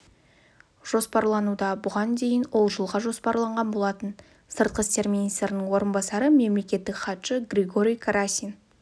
жоспарлануда бұған дейін ол жылға жоспарланған болатын сыртқы істер министрінің орынбасары мамлекеттік хатшы григорий карасин